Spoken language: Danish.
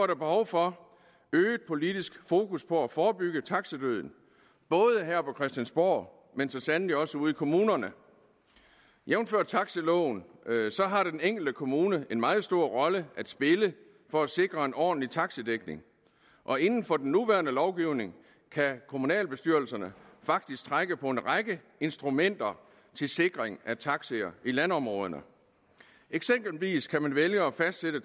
der behov for øget politisk fokus på at forebygge taxidøden både her på christiansborg og så sandelig også ude i kommunerne jævnfør taxiloven har den enkelte kommune en meget stor rolle at spille for at sikre en ordentlig taxidækning og inden for den nuværende lovgivning kan kommunalbestyrelserne faktisk trække på en række instrumenter til sikring af taxier i landområderne eksempelvis kan man vælge at fastsætte